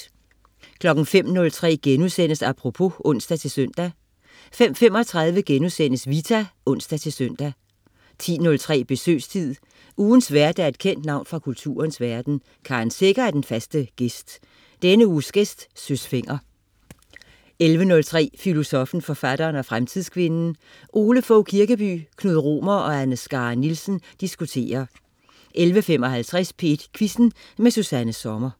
05.03 Apropos* (ons-søn) 05.35 Vita* (ons-søn) 10.03 Besøgstid. Ugens vært er et kendt navn fra kulturens verden. Karen Secher er den faste "gæst". Denne uges gæst: Søs Fenger 11.03 Filosoffen, forfatteren og fremtidskvinden. Ole Fogh Kirkeby, Knud Romer og Anne Skare Nielsen diskuterer 11.55 P1 Quizzen. Susanna Sommer